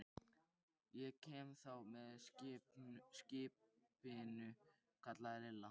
Ég kem þá með skipinu, kallaði Lilla.